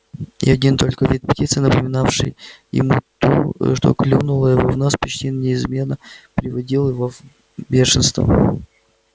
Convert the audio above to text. и один только вид птицы напоминавшей ему ту что клюнула его в нос почти неизменно приводил его в бешенство